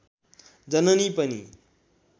जननी पनि